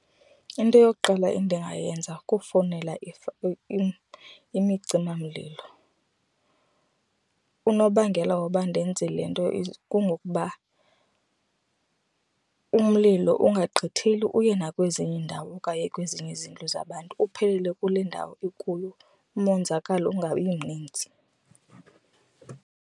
Into yokuqala endingayenza kufowunela imcimamlilo. Unobangela woba ndenze le nto kungokuba umlilo ungagqitheli uye nakwezinye iindawo okanye kwezinye izindlu zabantu uphelele kule ndawo ikuyo umonzakalo ungabi mninzi.